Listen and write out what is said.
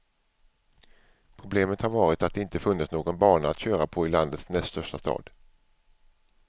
Problemet har varit att det inte funnits någon bana att köra på i landets näst största stad.